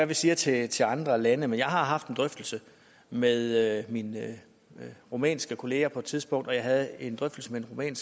vi siger til til andre lande men jeg har haft en drøftelse med mine rumænske kolleger på et tidspunkt og jeg havde en drøftelse med den